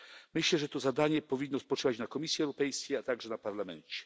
Myślę, że to zadanie powinno spoczywać na Komisji Europejskiej, a także na Parlamencie.